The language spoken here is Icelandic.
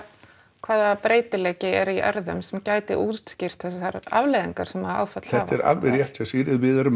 hvaða breytileiki er í erfðum sem gæti útskýrt þessar afleiðingar sem að áföll hafa þetta er alveg rétt hjá Sigríði við erum